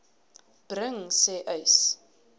bring sê uys